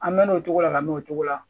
An mɛɛnna o cogo la ka mɛn o cogo la